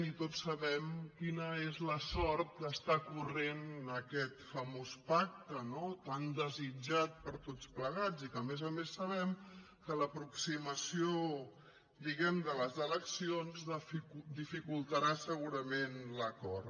i tots sabem quina és la sort que està corrent aquest famós pacte no tan desitjat per tots plegats i que a més a més sabem que l’aproximació diguem ne de les eleccions dificultarà segurament l’acord